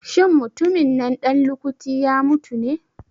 Shin mutumin nan ɗan lukuti ya mutu ne?